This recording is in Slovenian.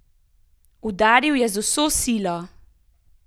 Udaril je z vso silo!